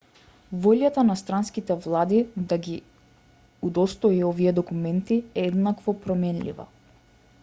волјата на странските влади да ги удостои овие документи е еднакво променлива